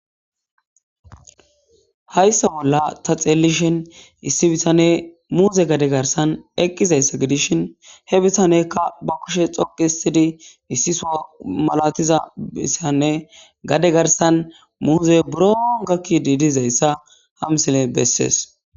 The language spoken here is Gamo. Hayssa bolla ta teliishshin issi bittaney muuze gade garssan eqidayssa gidishshin he bittaneyka ba kuushshe xoqqi hiisttidi issi soho malatiiza bessanne gade garssan muzey buuro gaakidi dizayssa ha misiley besees